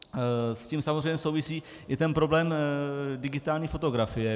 S tím samozřejmě souvisí i ten problém digitální fotografie.